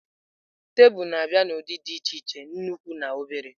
Tebụl na-abịa n'ụdị dị iche iche, nnukwu na obere.